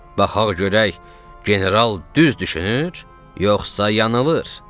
Baxaq görək general düz düşünür, yoxsa yanılır?